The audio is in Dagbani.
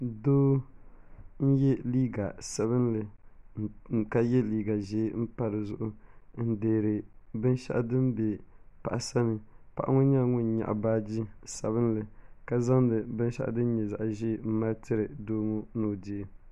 Doo n-ye liiga sabinli ka ye liiga ʒee pa di zuɣu n-deeri binshɛɣu din be paɣa sani paɣa ŋɔ nyɛla ŋun nyaɣi baaji sabinli ka zaŋdi binshɛɣu din nyɛ zaɣ'ʒee m-mali tiri doo ŋɔ ni o deei.